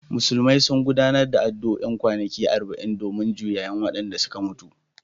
Musulmi sun gudanar da addu’o’in kwanaki arba’in domin juyayin wadanda suka mutu